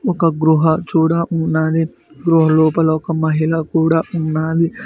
ఒక గృహ చూడా ఉన్నది గృహ లోపల ఒక మహిళ కూడా ఉన్నది.